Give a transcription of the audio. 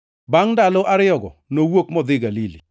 Omiyo ji mangʼeny moko bende noyie kuom Yesu nikech weche mane owachonegi.